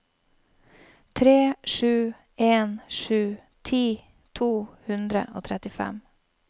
tre sju en sju ti to hundre og trettifem